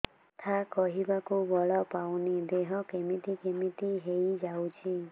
କଥା କହିବାକୁ ବଳ ପାଉନି ଦେହ କେମିତି କେମିତି ହେଇଯାଉଛି